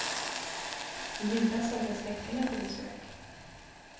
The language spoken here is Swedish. I julas hade jag släktingar på besök.